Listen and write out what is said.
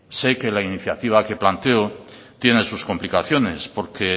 sé que la iniciativa que planteo tiene sus complicaciones porque